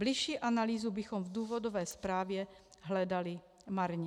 Bližší analýzu bychom v důvodové zprávě hledali marně.